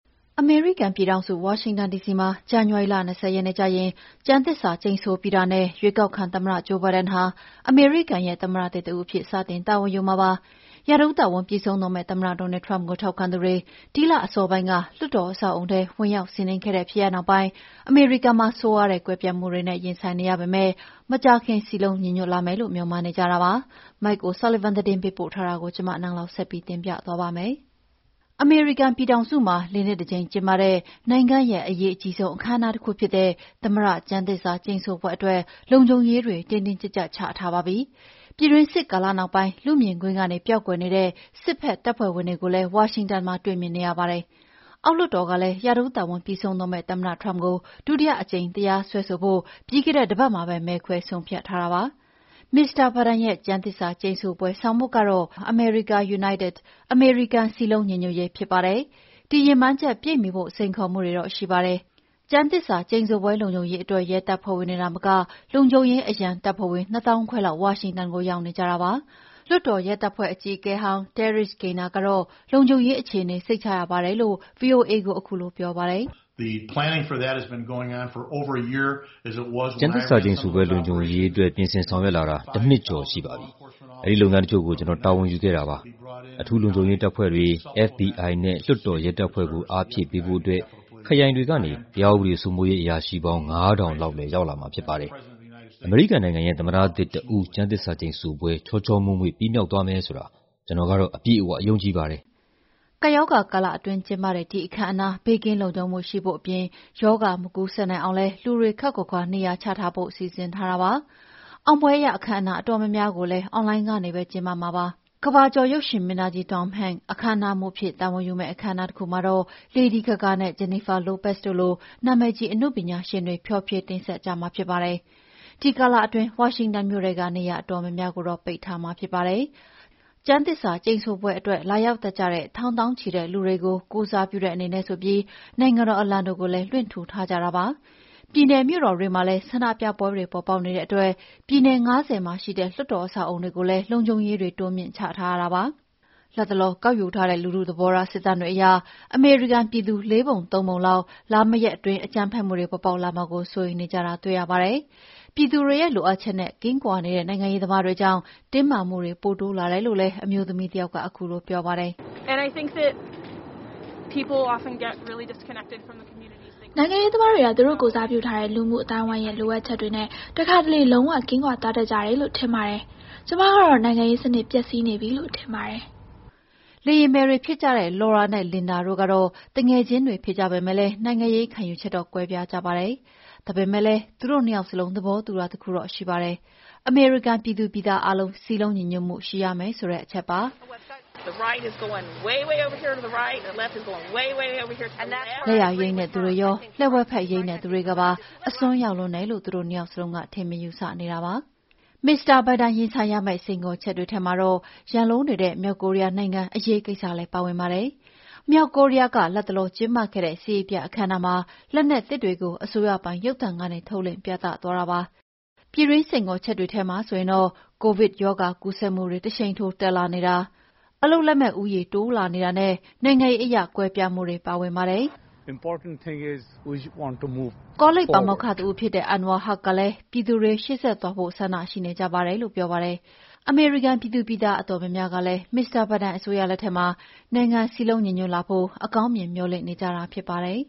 အမေရိကန်ပြည်ထောင်စု၊ ဝါရှင်တန်ဒီစီမှာ ဇန်နဝါရီလ ၂၀ ရက်နေ့ကျရင် ကျမ်းသစ္စာကျိန်ဆိုပြီးတာနဲ့ ရွေးကောက်ခံသမ္မတ ဂျိုးဘိုင်းဒန်ဟာ အမေရိကန်ပြည်ထောင်စုရဲ့ သမ္မတသစ်တဦးအဖြစ်စတင်တာဝန်ယူမှာ ဖြစ်ပါတယ်။ ရာထူးတာဝန်ပြီးဆုံးတော့မယ့် သမ္မတ Donald Trump ကို ထောက်ခံသူတွေ ဒီလအစောပိုင်းက လွှတ်တော်အဆောက်အအုံထဲ ဝင်ရောက်စီးနင်းခဲ့တဲ့ဖြစ်ရပ်နောက်ပိုင်း အမေရိကန်မှာ ဆိုးရွားတဲ့ ကွဲပြားမှုတွေနဲ့ ရင်ဆိုင်နေရပေမယ့် မကြာခင် စည်းလုံးညီညွှတ်လာဖု့ိ မေ ျှာ်မှန်းနေကြတာပါ။ Mike O’Sullivan သတင်းပေးပို့ထားတာကို နန်းလောင်ဝ်က တင်ပြထားပါတယ်။ အမေရိကန်ပြည်ထောင်စုမှာ ၄ နှစ် တကြိမ်ကျင်းပတဲ့ နိုင်ငံရဲ့အရေးအကြီးဆုံး အခမ်းအနားတခုဖြစ်တဲ့ သမ္မတကျမ်းသစ္စာကျိန်ဆိုပွဲအတွက် လုံခြုံရေးတွေ တင်းတင်းကြပ်ကြပ်ချထားပါပြီ။ ပြည်တွင်းစစ်ကာလနောက်ပိုင်း လူ့မြင်ကွင်းကနေ ပျောက်ကွယ်နေတဲ့ စစ်ဘ က်တပ်ဖွဲ့ဝင်တွေကိုလည်း ဝါရှင်တန်မှာ တွေ့မြင်နေရတာပါ။ အောက်လွှတ်တော်ကလည်း ရာထူးတာဝန်ပြီးဆုံးတော့မယ့် သမ္မတ Trump ကို ဒုတိယအကြိမ်တရားစွဲဆိုဖို့ ပြီးခဲ့တဲ့တပတ်မှာတင် မဲခွဲဆုံးဖြတ်ထားတာပါ။ မစ္စတာ ဘိုင်ဒန်ရဲ့ ကျမ်းသစ္စာကျိန်ဆိုပွဲဆောင်ပုဒ်ကတော့ "America United" "အမေရိကန်စည်းလုံးညီညွှတ်ရေး" ဖြစ်ပါတယ်။ ဒီရည်မှန်းချက်ပြည့်မှီဖို့ စိန်ခေါ်မှုတွေတော့ ရှိပါတယ်။ ကျမ်းသစ္စာ ကျိန်ဆိုပွဲလုံခြုံရေးအတွက် ရဲတပ်ဖွဲ့ဝင်တွေသာမက လုံခြုံရေးအရန်တပ်ဖွဲ့ဝင် ၂၅,၀၀၀ လောက် ဝါရှင်တန်မှာရောက်နေပါတယ်။ လွှတ်တော်ရဲတပ်ဖွဲ့ အကြီးအကဲဟောင်းကတော့ လုံခြုံရေးအခြေအနေ စိတ်ချရပါတယ်လို့ VOA ကို ခုလို ပြောပါတယ်။ "ကျမ်းသစ္စာကျိန်ဆိုပွဲ လုံခြုံရေးအတွက် ပြင်ဆင်ဆောင်ရွက်လာတာ တနှစ်ကျော်ရှိပါပြီ။ အဲဒီလုပ်ငန်းတချို့ကို ကျနော်တာဝန်ယူခဲ့တာပါ။ အထူးလုံခြုံရေးတပ်ဖွဲ့တွေ၊ FBI နဲ့ လွှတ်တေ်ာရဲတပ်ဖွဲ့ကို အားဖြည့်ပေးဖို့အတွက် ခရိုင်တွေကနေ တရားဥပဒေစိုးမိုးရေး အရာရှိပေါင်း ၅,၀၀၀ လောက်လည်းရောက်လာမှာဖြစ်ပါတယ်။ အမေရိကန်နိုင်ငံရဲ့ သမ္မတသစ်တဦး ကျမ်းသစ္စာကျိန်ဆိုပွဲ ချောချောမွေ့မွေ့ပြီးမြောက်သွားမယ်ဆိုတာ ကျနော်ကတော့ အပြည့်အဝယုံကြည်ပါတယ်။" ကပ်ရောဂါကာလအတွင်း ကျင်းပတဲ့ ဒီအခမ်းအနား ဘေးကင်းလုံခြုံမှု ရှိဖို့အပြင် ရောဂါမကူးနိုင်အောင် လူတွေ ခပ်ခွါခွါနေရာချထားဖို့လည်း စီစဉ်ထားပါတယ်။ အောင်ပွဲအခမ်းအနားအတော်များများကိုလည်း အွန်လိုင်းကနေပဲ ကျင်းပမှာဖြစ်ပါတယ်။ ကမ္ဘာကျော်ရုပ်ရှင်မင်းသားကြီး Tom Hanks အခမ်းအနားမှူးအဖြစ် တာဝန်ယူမယ့် အောင်ပွဲရ အခမ်းအနားမှာတော့ Lady Gaga နဲ့ Jennifer Lopez တို့လို နာမည်ကြီးအနုပညာရှင်တွေက ဖျော်ဖြေတင်ဆက်ကြမှာလည်းဖြစ်ပါတယ်။ ဒီကာလအတွင်း ဝါရှင်တန်မြို့ထဲက နေရာအတော်များများ ပိတ်ထားမှာပါ။ ကျမ်းသစ္စာကျိန်ဆိုပွဲအတွက် လာရောက်တတ်ကြတဲ့ ထောင်သောင်းချီတဲ့လူတွေကို ကိုယ်စားပြုတဲ့အနေနဲ့ နိုင်ငံတော်အလံတွေကိုလည်း လွှင့်ထူထားကြပါတယ်။ ပြည်နယ်မြို့တော်တွေမှာလည်း ဆန္ဒပြပွဲတွေပေါ်ပေါက်နေတဲ့အတွက် ပြည်နယ် ၅၀ မှာရှိတဲ့ လွှတ်တော်အဆောက်အအုံတွေကိုလည်း လုံခြုံရေးတွေ တိုးမြှင့်ချထားတာပါ။ လတ်တလော ကောက်ယူထားတဲ့လူထုသဘောထား စစ်တမ်းတွေအရ အမေရိကန်ပြည်သူ ၄ ပုံ ၃ ပုံလောက်က လာမယ့်ရက်အတွင်း အကြမ်းဖက်မှုတွေပေါ်ပေါက်လာမှာကိုစိုးရိမ်နေကြပါတယ်။ ပြည်သူတွေရဲ့ လိုအပ်ချက်အနဲ့ ကင်းကွာနေတဲ့ နိုင်ငံရေးသမားတွေကြောင့် တင်းမာမှုတွေ ပိုတိုးလာတယ်လို့လည်း အမျိုးသမီးတယောက်က ခုလိုပြောပါတယ်။ "နိုင်ငံရေးသမားတွေက သူတို့ကိုယ်စားပြုထားတဲ့ လူမှုအသိုင်းအဝိုင်းရဲ့လိုအပ်ချက်တွေနဲ့ တခါတလေ လုံး၀ ကင်းကွာသွားတတ်ကြတယ်လို့ ထင်ပါတယ်။ ကျမကတော့ နိုင်ငံရေးစနစ်ပျက်စီးနေပြီလို့ထင်ပါတယ်။" လေယာဉ်မယ်တွေဖြစ်ကြတဲ့ Laura နဲ့ Linda တို့ကတော့ သူငယ်ချင်းတွေဖြစ်ပေမဲ့ နိုင်ငံရေးခံယူချက်တော့ ကွဲပြားကြပါတယ်။ ဒါပေမဲ့လည်း သူတို့ ၂ ယောက်စလုံး သဘောတူတာတခုတော့ ရှိပါတယ်။ ဒါကတော့ အမေရိကန်ပြည်သူတွေ စည်းလုံးညီညွှတ်မှု ရှိရမယ်ဆိုတဲ့အချက်ပါ။ လက်ယာယိမ်းတဲ့သူတွေရော၊ လက်ဝဲဘက်ယိမ်းတဲ့သူတွေကပါ အစွန်းရောက်လွန်းတယ်လို့ သူတို့ ၂ ယောက်စလုံး ထင်မြင်ယူဆနေကြတာပါ။ မစ္စတာဘိုင်ဒန်ရင်ဆိုင်ရမယ့် စိန်ခေါ်ချက်တွေထဲမှာ ရန်လိုနေတဲ့ မြောက်ကိုရီးယားနိုင်ငံအရေးကိစ္စလည်း ပါဝင်ပါတယ်။ မြောက်ကိုရီးယား လတ်တလောကျင်းပခဲ့တဲ့ စစ်ရေးပြအခမ်းအနားမှာ လက်နက်သစ်တွေကို အစိုးရပိုင်ရုပ်သံကနေ ထုတ်လွှင့်ပြသသွားတာပါ။ ပြည်တွင်း စိန်ခေါ်ချက်တွေထဲမှာဆေိုရင်တော့ COVID ရောဂါကူးစက်မှုတွေ တရှိန်ထိုးတက်လာနေတာ၊ အလုပ်လက်မဲ့ပြဿနာနဲ့ နိုင်ငံရေးအရ ကွဲပြားမှုတွေပါဝင်ပါတယ်။ ကောလိပ်ပါမောက္ခတဦးဖြစ်တဲ့ Anwar Huq ကလည်း ပြည်သူတွေ ရှေ့ဆက်သွားဖို့ ဆန္ဒရှိနေကြပါတယ်လို့ ပြောပါတယ်။ အမေရိကန်ပြည်သူပြည်သားအတော်များများကလည်း မစ္စတာဘိုင်ဒန် အစိုးရလက်ထက်မှာ နိုင်ငံစည်းလုံးညီညွှတ်လာဖု့ိ အကောင်းမြင် မေ ျှာ်လင့်နေကြတာဖြစ်ပါတယ်